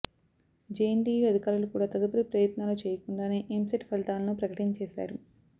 JNTU అధికారులు కూడా తదుపరి ప్రయత్నాలు చేయకుండానే ఎంసెట్ ఫలితాలను ప్రకటించేశారు